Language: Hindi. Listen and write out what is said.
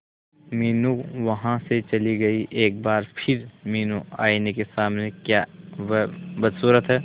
मीनू वहां से चली गई एक बार फिर मीनू आईने के सामने क्या वह बदसूरत है